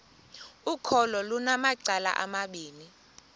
ukholo lunamacala amabini